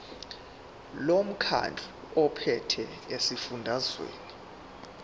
lomkhandlu ophethe esifundazweni